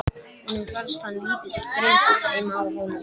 Honum fannst hann lítill drengur heima á Hólum.